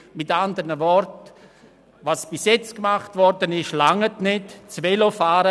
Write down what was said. Mit anderen Worten: Was bisher getan wurde, reicht nicht aus.